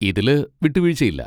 ഇതില് വിട്ടുവീഴ്ച്ചയില്ല.